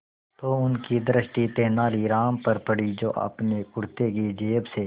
तो उनकी दृष्टि तेनालीराम पर पड़ी जो अपने कुर्ते की जेब से